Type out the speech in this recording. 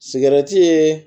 Sigɛrɛti ye